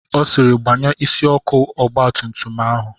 Ọ sịịrị, gbanye isi ọkụ ọgba tum tum ahụ!